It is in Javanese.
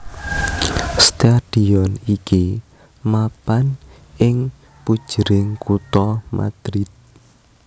Stadion iki mapan ing pujering kutha Madrid